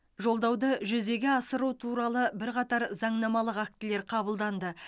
жолдауды жүзеге асыру туралы бірқатар заңнамалық актілер қабылданды